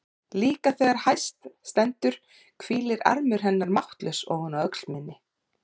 Líka þegar hæst stendur hvílir armur hennar máttlaus ofan á öxl minni.